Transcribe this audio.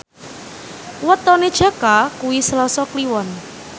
wetone Jaka kuwi Selasa Kliwon